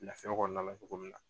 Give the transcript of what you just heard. Laafiya kɔnɔna la cogo min na.